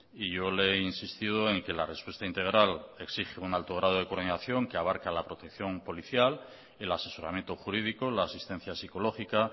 y yo le he insistido en que la respuesta integral exige un alto grado de coordinación que abarca la protección policial el asesoramiento jurídico la asistencia psicológica